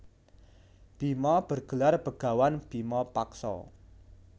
Bima bergelar bagawan bima paksa